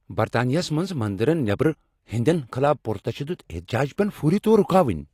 برطانیہس منٛز منٛدرن نیبر ہیٚنٛدین خلاف پرتشدد احتجاج پین فوری طور رکاوٕنۍ۔